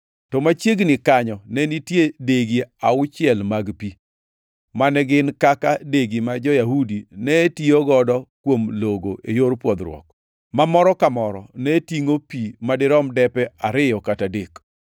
To machiegni kanyo ne nitie degi auchiel mag pi, mane gin kaka degi ma jo-Yahudi ne tiyogo kuom logo e yor pwodhruok, ma moro ka moro ne tingʼo pi madirom depe ariyo kata adek.